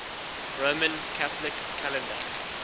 roman catholic calendar